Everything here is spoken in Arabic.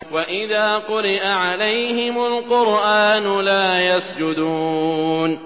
وَإِذَا قُرِئَ عَلَيْهِمُ الْقُرْآنُ لَا يَسْجُدُونَ ۩